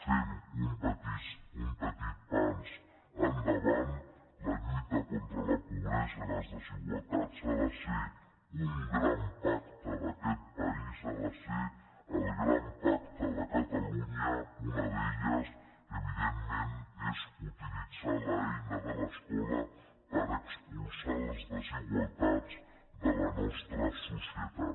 fem un petit pas endavant la lluita contra la pobresa i les desigualtats ha de ser un gran pacte d’aquest país ha de ser el gran pacte de cata·lunya i una d’elles evidentment és utilitzar l’eina de l’escola per expulsar les desigualtats de la nostra so·cietat